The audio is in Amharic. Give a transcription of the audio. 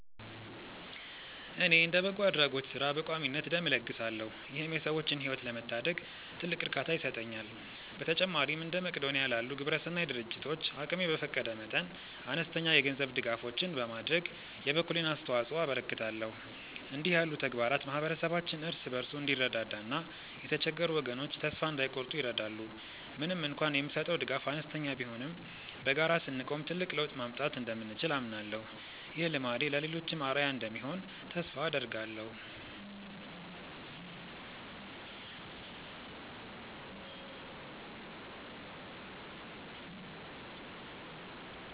እኔ እንደ በጎ አድራጎት ሥራ በቋሚነት ደም እለግሳለሁ ይህም የሰዎችን ሕይወት ለመታደግ ትልቅ እርካታ ይሰጠኛል። በተጨማሪም እንደ መቅዶንያ ላሉ ግብረሰናይ ድርጅቶች አቅሜ በፈቀደ መጠን አነስተኛ የገንዘብ ድጋፎችን በማድረግ የበኩሌን አስተዋጽኦ አበረክታለሁ። እንዲህ ያሉ ተግባራት ማኅበረሰባችን እርስ በርሱ እንዲረዳዳና የተቸገሩ ወገኖች ተስፋ እንዳይቆርጡ ይረዳሉ። ምንም እንኳን የምሰጠው ድጋፍ አነስተኛ ቢሆንም በጋራ ስንቆም ትልቅ ለውጥ ማምጣት እንደምንችል አምናለሁ። ይህ ልማዴ ለሌሎችም አርአያ እንደሚሆን ተስፋ አደርጋለሁ።